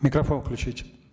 микрофон включите